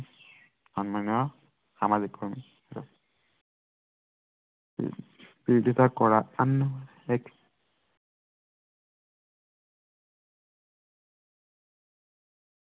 বিৰোধিতা কৰা, আন এক